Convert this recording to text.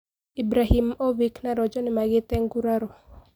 Ibrahimovic na Rojo nimagite nguraro.